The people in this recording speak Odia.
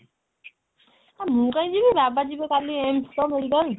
ହେ ମୁଁ କାଇଁ ଯିବି ବାବା ଯିବେ କାଲି aims ପା medical